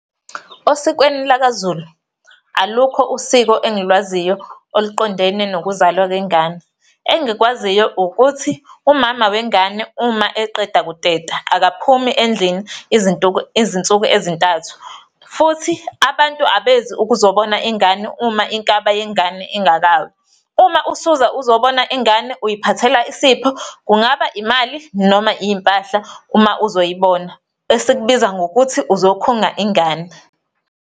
Osikweni lakaZulu, alukho usiko engilwaziyo oluqondene nokuzalwa kwengane. Engikwaziyo ukuthi umama wengane uma eqeda kuteta akaphumi endlini izinsuku ezintathu futhi abantu abezi ukuzobona ingane uma inkaba yengane ingakawi. Uma usuza uzobona ingane uyiphathela isipho, kungaba imali noma iy'mpahla uma uzoyibona, esikubiza ngokuthi uzokhunga ingane.